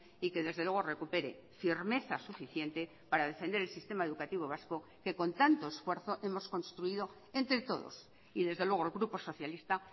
y que desde luego recuperé firmeza suficiente para defender el sistema educativo vasco que con tanto esfuerzo hemos construido entre todos y desde luego el grupo socialista